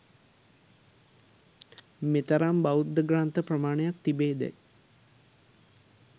මෙතරම් බෞද්ධ ග්‍රන්ථ ප්‍රමාණයක් තිබේදැයි